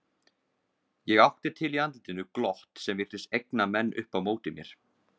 Ég átti til í andlitinu glott sem virtist egna menn upp á móti mér.